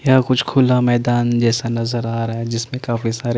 यहां कुछ खुला मैदान जैसा नज़र आ रहा है जिसमे काफी सारे --